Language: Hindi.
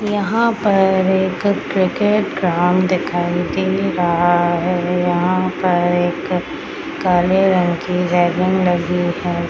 यहाँ पर एक क्रिकेट ग्राउंड दिखाई दे रहा है यहाँ पर एक काले रंग की रेलिंग लगी है।